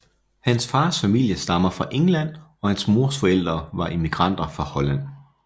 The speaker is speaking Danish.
Hans fars familie stammer fra England og hans mors forældre var immigranter fra Holland